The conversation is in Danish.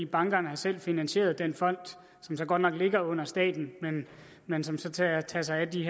bankerne har selv finansieret den fond som så godt nok ligger under staten men som så tager tager sig af de